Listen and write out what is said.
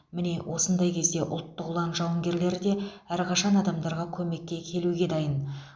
міне осындай кезде ұлттық ұлан жауынгерлері де әрқашан адамдарға көмек келуге дайын